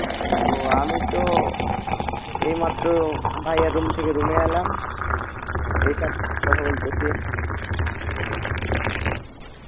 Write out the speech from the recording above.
ও আমি তো, এই মাত্র ভাইয়া room থেকে room এ এলাম এসে এখন কথা বলতাছি